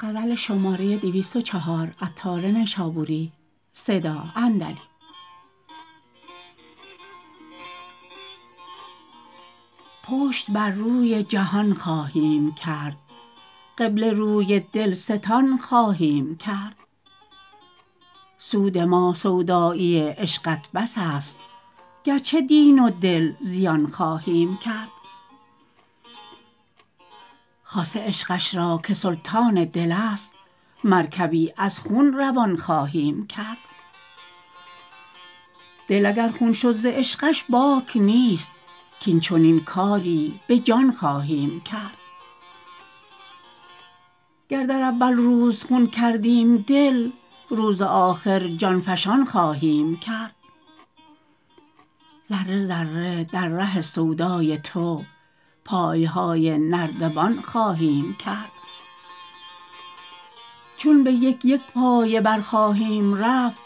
پشت بر روی جهان خواهیم کرد قبله روی دلستان خواهیم کرد سود ما سودایی عشقت بس است گرچه دین و دل زیان خواهیم کرد خاصه عشقش را که سلطان دل است مرکبی از خون روان خواهیم کرد دل اگر خون شد ز عشقش باک نیست کین چنین کاری به جان خواهیم کرد گر در اول روز خون کردیم دل روز آخر جان فشان خواهیم کرد ذره ذره در ره سودای تو پایهای نردبان خواهیم کرد چون به یک یک پایه بر خواهیم رفت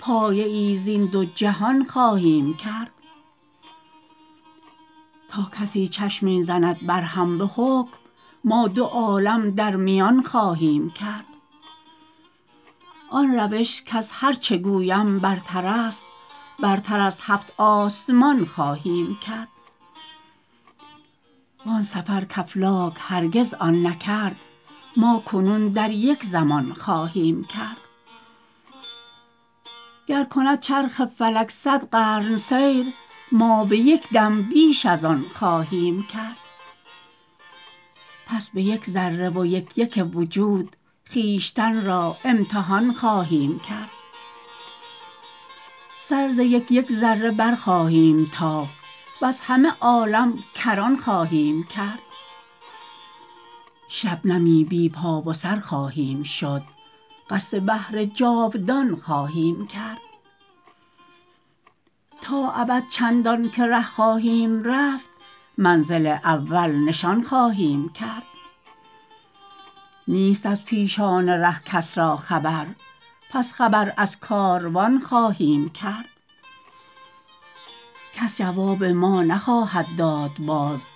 پایه ای زین دو جهان خواهیم کرد تا کسی چشمی زند بر هم به حکم ما دو عالم در میان خواهیم کرد آن روش کز هرچه گویم برتر است برتر از هفت آسمان خواهیم کرد وآن سفر کافلاک هرگز آن نکرد ما کنون در یک زمان خواهیم کرد گر کند چرخ فلک صد قرن سیر ما به یک دم بیش از آن خواهیم کرد پس به یک ذره و یک یک وجود خویشتن را امتحان خواهیم کرد سر ز یک یک ذره بر خواهیم تافت وز همه عالم کران خواهیم کرد شبنمی بی پا و سر خواهیم شد قصد بحر جاودان خواهیم کرد تا ابد چندان که ره خواهیم رفت منزل اول نشان خواهیم کرد نیست از پیشان ره کس را خبر پس خبر از کاروان خواهیم کرد کس جواب ما نخواهد داد باز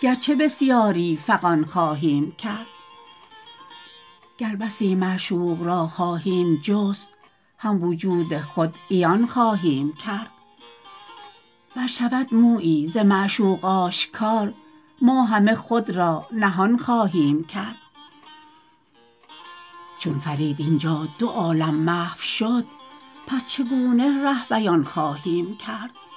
گرچه بسیاری فغان خواهیم کرد گر بسی معشوق را خواهیم جست هم وجود خود عیان خواهیم کرد ور شود مویی ز معشوق آشکار ما همه خود را نهان خواهیم کرد چون فرید اینجا دو عالم محو شد پس چگونه ره بیان خواهیم کرد